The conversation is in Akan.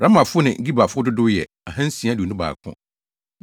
Ramafo ne Gebafo dodow yɛ 2 621 1